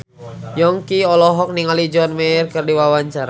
Yongki olohok ningali John Mayer keur diwawancara